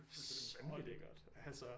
Så lækkert altså